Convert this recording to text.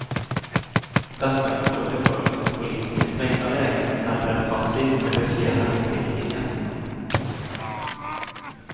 Detta kan få till följd att polisen i trängda lägen hellre är passiv än riskerar en prickning i efterhand.